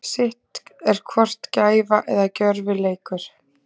Sitt er hvort gæfa eða gjörvileikur.